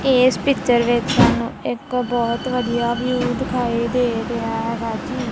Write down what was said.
ਇਸ ਪਿੱਚਰ ਵਿੱਚ ਸਾਨੂੰ ਇੱਕ ਬਹੁਤ ਵਧੀਆ ਵਿਊ ਦਿਖਾਈ ਦੇ ਰਿਹਾ ਹੈਗਾ ਜੀ।